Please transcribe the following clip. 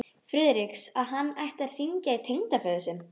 Friðriks, að hann ætti að hringja í tengdaföður sinn.